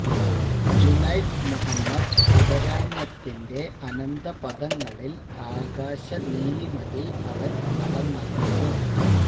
ജുനൈദ് മുഹമ്മദ് അപരാഹ്നത്തിന്റെ അനന്ത പഥങ്ങളില് ആകാശ നീലിമയില് അവന് നടന്നകന്നു